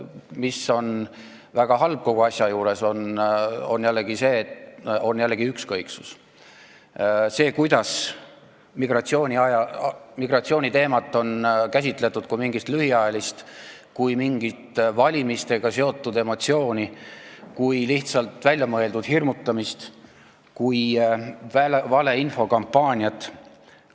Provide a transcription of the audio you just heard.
See, mis on väga halb kogu asja juures, on jällegi ükskõiksus: see, kuidas migratsiooniteemat on käsitletud kui mingit lühiajalist ja valimistega seotud emotsiooni, kui lihtsalt väljamõeldud hirmutamist, kui valeinfo kampaaniat.